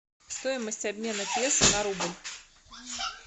стоимость обмена песо на рубль